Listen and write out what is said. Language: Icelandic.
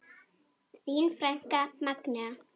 Þín frænka, Magnea.